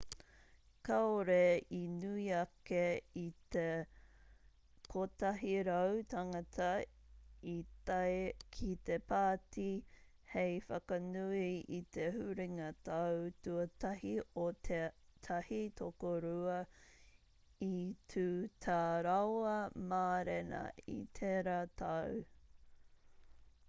kāore i nui ake i te 100 tāngata i tae ki te pāti hei whakanui i te huringa tau tuatahi o tētahi tokorua i tū tā rāua mārena i tērā tau